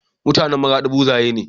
MutAnan maradi buzaye ne